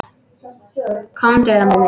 Komdu, lambið mitt.